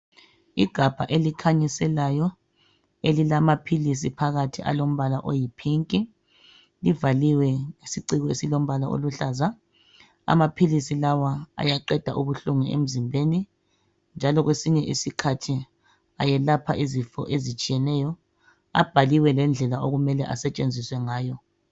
Igabha elikhanyiselayo elilamaphilisi phakathi alombala oyi pink livaliwe ngesiciko esilombala oluhlaza amaphilisi lawa ayaqeda ubuhlungu emzimbeni njalo kwesinye isikhathi ayelapha izifo ezitshiyeneyo. Abhaliwe lendlela okumele asetshenziswe ngayo